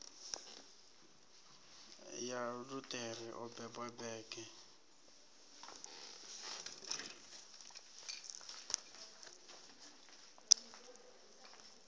ya luṱere o beba bege